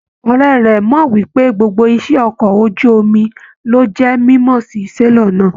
Ọrẹ rẹ mọ wípé gbogbo iṣẹ ọkọ̀ ojú omi ló jẹ mímọ sí selọ̀ náà.